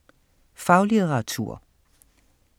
Faglitteratur